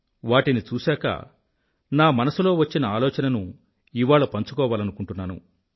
వాటిని చూశాక నా మనసులో వచ్చిన ఆలోచనను ఇవాళ పంచుకోవాలనుకుంటున్నాను